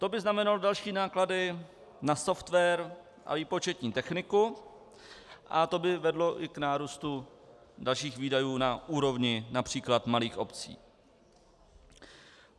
To by znamenalo další náklady na software a výpočetní techniku a to by vedlo i k nárůstu dalších výdajů na úrovni například malých obcí.